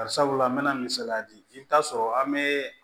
Bari sabula an mɛ na misaliya di i bi taa sɔrɔ an be